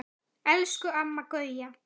Elsku Amma Gauja.